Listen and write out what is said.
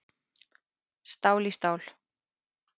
Stál í stál